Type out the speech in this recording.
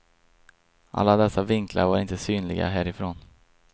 Alla dess vinklar var inte synliga härifrån.